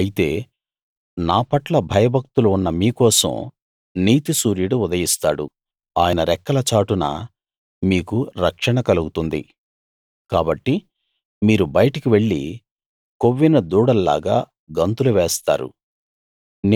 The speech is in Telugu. అయితే నా పట్ల భయభక్తులు ఉన్న మీ కోసం నీతిసూర్యుడు ఉదయిస్తాడు ఆయన రెక్కల చాటున మీకు రక్షణ కలుగుతుంది కాబట్టి మీరు బయటికి వెళ్లి కొవ్విన దూడల్లాగా గంతులు వేస్తారు